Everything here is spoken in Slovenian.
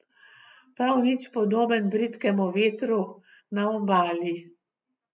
Prav nič podoben bridkemu vetru na obali.